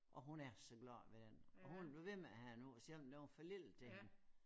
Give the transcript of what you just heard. Og hun er så glad ved den og hun er blevet ved med at have den på selvom den var for lille til hende